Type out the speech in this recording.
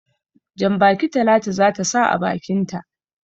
Jan-baki Talatu za ta sa a bakinta.